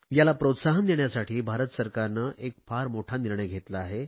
याला प्रोत्साहन देण्यासाठी भारत सरकारने एक फार मोठा निर्णय घेतला आहे